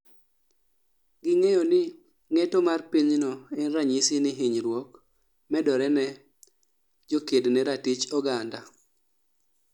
Ging'eyo ni ng'eto mar pinyno en ranyisi ni hinyruok medore ne jokedne ratich oganda